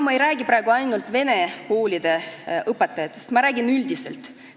Ma ei räägi praegu ainult vene koolide õpetajatest, ma räägin üldiselt.